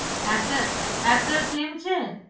Archer Archer same છે.